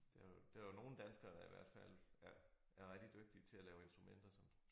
Der er der er nogle danskere der i hvert fald er er rigtig dygtige til at lave instrumenter som